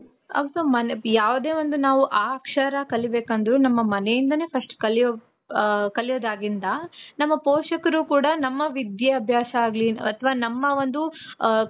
ಆಗ್ ನಾವು ಯಾವ್ದೇ ಒಂದು ನಾವು ಆ ಅಕ್ಷರ ಕಲಿಬೇಕು ಅಂದ್ರು, ನಮ್ಮ ಮನೆ ಇಂದನೆ first ಕಲಿಯೋ, ಕಲಿಯೋದಾಗಿಂದ ನಮ್ಮ ನಮ್ಮ ಪೋಷಕರು ಕೂಡ ನಮ್ಮ ವಿಧ್ಯಾಭ್ಯಾಸ ಆಗ್ಲಿ ಅತವ ನಮ್ಮ ಒಂದು